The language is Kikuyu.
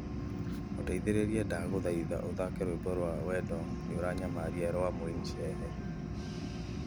Mũteithĩrĩria ndaguthaitha uthake rwimbo rwa wendo ni ũranyamaria rwa mwinshehe